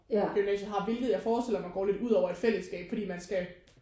Gymnasiet har hvilket jeg forestiller mig går lidt ud over et fællesskab fordi man skal